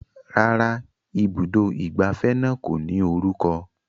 Rárá, ibùdó ìgbafẹ́ náà kò ní orúkọ